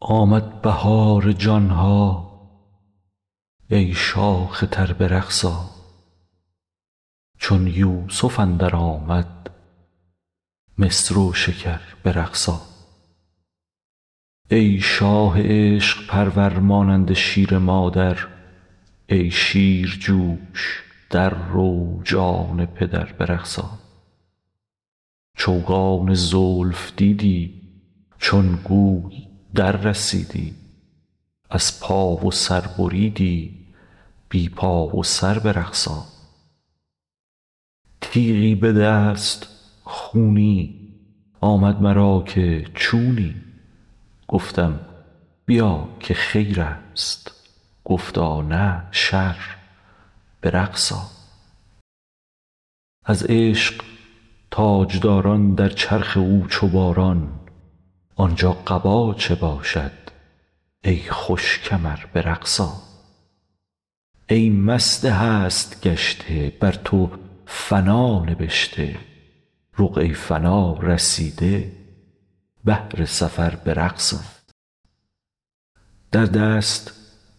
آمد بهار جان ها ای شاخ تر به رقص آ چون یوسف اندر آمد مصر و شکر به رقص آ ای شاه عشق پرور مانند شیر مادر ای شیر جو ش در رو جان پدر به رقص آ چوگان زلف دیدی چون گوی دررسیدی از پا و سر بریدی بی پا و سر به رقص آ تیغی به دست خونی آمد مرا که چونی گفتم بیا که خیر است گفتا نه شر به رقص آ از عشق تاج داران در چرخ او چو باران آن جا قبا چه باشد ای خوش کمر به رقص آ ای مست هست گشته بر تو فنا نبشته رقعه ی فنا رسیده بهر سفر به رقص آ در دست